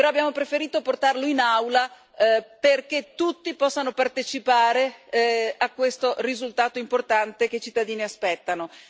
Però abbiamo preferito portarlo in Aula perché tutti possano partecipare a questo risultato importante che i cittadini aspettano.